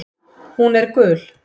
Hún er gul.